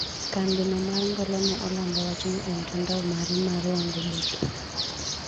Kambi no mar ngolo ne olando wachno e mtandao mare mar wangoboke.